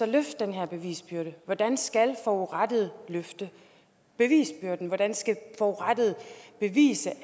løfte den her bevisbyrde hvordan skal forurettede løfte bevisbyrden hvordan skal forurettede bevise at